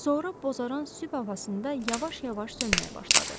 Sonra bozaran sübh havasında yavaş-yavaş sönməyə başladı.